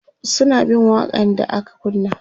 suna bin waƙa n da aka kunna